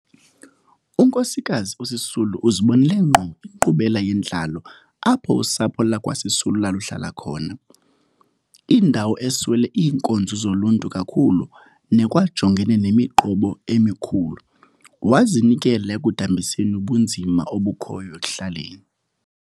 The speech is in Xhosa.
UNkosikazi uSisulu uzibonele ngqo inkqubela yentlalo apho usapho lakwaSisulu laluhlala khona, indawo eswele iinkonzo zoluntu kakhulu nekwajongene nemiqobo emikhulu, wazinikela ekudambiseni ubunzima obukhoyo ekuhlaleni.